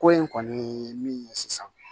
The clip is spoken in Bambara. Ko in kɔni min ye sisan